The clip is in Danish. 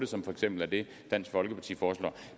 som for eksempel er det dansk folkeparti foreslår